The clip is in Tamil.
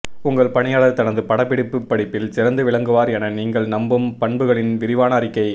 உங்கள் பணியாளர் தனது பட்டப்படிப்பு படிப்பில் சிறந்து விளங்குவார் என நீங்கள் நம்பும் பண்புகளின் விரிவான அறிக்கை